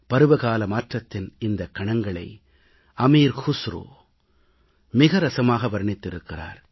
பருவகால மாற்றத்தின் இந்தக் கணங்களை அமீர் குஸ்ரு மிகவும் சுவைபட வர்ணித்திருக்கிறார்